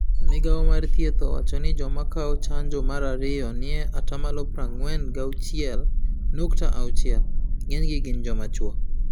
Migao mar thieth owacho ni joma kao chanjo mar ario nie atamalo prang'wen gauchiel nukta auchiel. Ng'eny gi gin jomachuo.